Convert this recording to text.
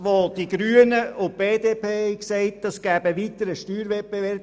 Die Grünen und die BDP sagen, das gäbe einen weiteren Steuerwettbewerb.